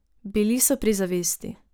Bili so pri zavesti.